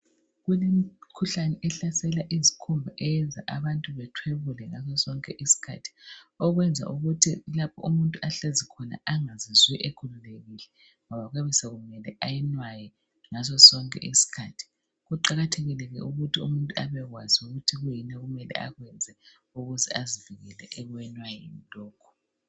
Kulemikhuhlane ehlasela izikhumba ayenza abantu bathwebule ngaso sonke isikhathi okwenza ukuthi umuntu lapho ahlezi khona anagzizwa ekhululekile ngoba kuyabe sekumele ayinwaye ngaso sonke isikhathi. Kuqakathekile ke ukuthi umuntu abekwazi ukuthi kuyini okumele akwenze ukuze azivikele ekwenwayeni lokhu.